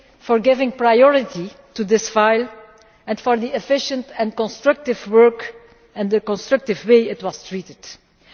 for giving priority to this file and for the efficient and constructive work and the constructive way it was dealt with.